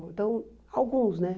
Então, alguns, né?